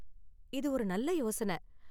இது ஒரு நல்ல யோசன.